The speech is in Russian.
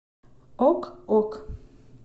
ок ок